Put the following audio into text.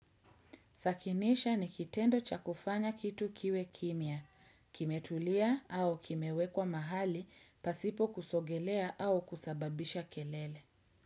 Sakinisha ni kitendo cha kufanya kitu kiwe kimia. Kimetulia au kimewekwa mahali, pasipo kusogelea au kusababisha kelele.